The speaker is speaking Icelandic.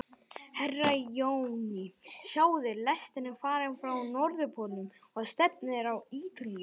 Herra Johnny, sjáðu, lestin er farin frá Norðurpólnum og stefnir á Ítalíu.